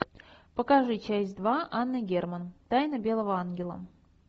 покажи часть два анна герман тайна белого ангела